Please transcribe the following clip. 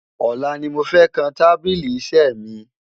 olá ní mọ fẹ kàn tábìlì iṣé mi